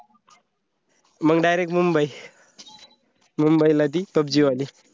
मंग direct मुंबई, मुंबईला ती pubg वाली